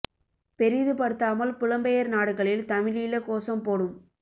பெரிது படுத்தாமல் புலம்பெயர் நாடுகளில் தமிழீழ கோசம் போடும்